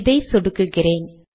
இதை சொடுக்குகிறேன்